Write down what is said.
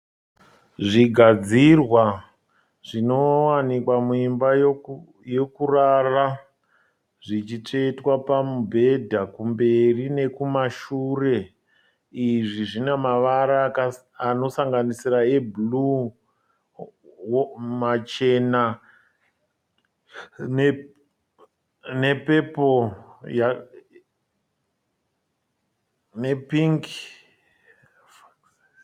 Zvigadzirwa zvinowanikwa muimba yekurara, zvichitsvetwa pamubhedha kumberi nekumashure. Izvi zvine mavara anosanganisira webhuruu, machena, nepepuru nepingi.